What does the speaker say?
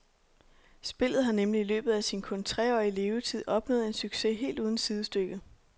Spillet har nemlig i løbet af sin kun treårige levetid opnået en succes helt uden sidestykke.